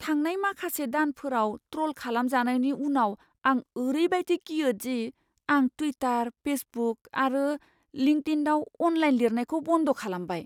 थांनाय माखासे दानफोराव ट्र'ल खालामजानायनि उनाव आं ओरैबादि गियो दि आं टुइटार, फेसबुक आरो लिंकडइनआव अनलाइन लिरनायखौ बन्द खालामबाय।